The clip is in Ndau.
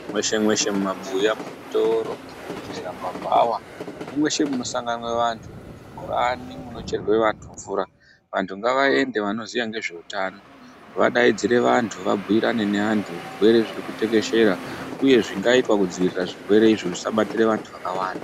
Mweshe mweshe mumabuya muzvitoro muzvibhedhlera mumabhawa nemweshe munosanganwa vanthu muzvibhorani munocherwe vanthu mvura vanthu ngavaende vanoziya nezveutano vadaidzire vanthu vabhiirane nevanthu zvirwere zviri kutekeshera uye zvingaitwa kudziirira zvirwerezvo zvisabatire vanthu vakawanda.